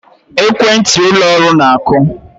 Ekwentị ụlọ ọrụ na-akụ